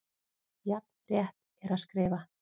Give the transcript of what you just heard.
Jafn rétt er að skrifa